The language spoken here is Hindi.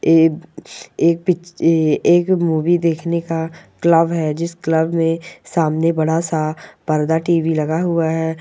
ए एक एक मूवी देखने का क्लब है जिस क्लब में सामने बड़ा सा पर्दा टीवी लगा हुआ है।